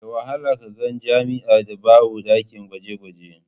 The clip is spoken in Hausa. Da wahala ka ga jami'ar da ba ta da ɗakin gwaje-gwaje.